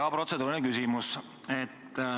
Jaa, protseduuriline küsimus.